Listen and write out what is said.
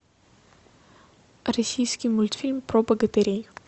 российский мультфильм про богатырей